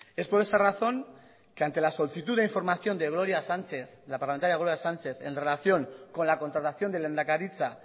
es por esa razón que ante la solicitud de información de la parlamentaria gloria sánchez en relación con la contratación de lehendakaritza